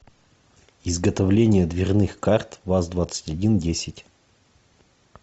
изготовление дверных карт ваз двадцать один десять